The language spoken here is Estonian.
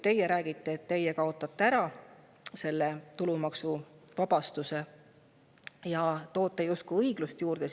Te räägite, et te kaotate selle tulumaksuvabastuse ära ja sellega loote justkui õiglust juurde.